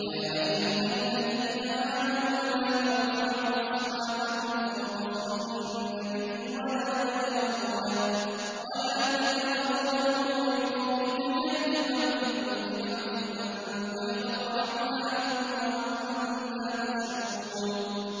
يَا أَيُّهَا الَّذِينَ آمَنُوا لَا تَرْفَعُوا أَصْوَاتَكُمْ فَوْقَ صَوْتِ النَّبِيِّ وَلَا تَجْهَرُوا لَهُ بِالْقَوْلِ كَجَهْرِ بَعْضِكُمْ لِبَعْضٍ أَن تَحْبَطَ أَعْمَالُكُمْ وَأَنتُمْ لَا تَشْعُرُونَ